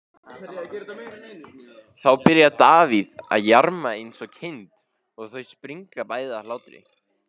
Þá byrjar Davíð að jarma eins og kind og þau springa bæði af hlátri.